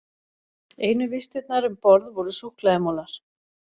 Einu vistirnar um borð voru súkkulaðimolar.